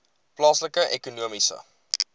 plaaslike ekonomiese